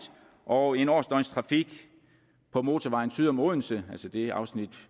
og en årsdøgnstrafik på motorvejen syd om odense altså det afsnit